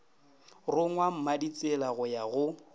rongwa mmaditsela go ya go